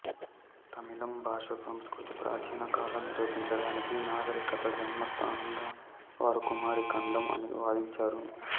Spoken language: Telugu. తమిళం భాష సంస్కృతి ప్రాచీన కాలం నిరూపించడానికి నాగరికత జన్మస్థానంగా వారు కుమారి ఖండం అని వాదించారు